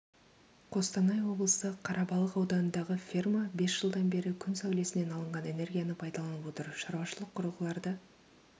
қостанай облысы қарабалық ауданындағы ферма бес жылдан бері күн сәулесінен алынған энергияны пайдаланып отыр шаруашылық құрылғыларды